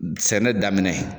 Sɛnɛ daminɛ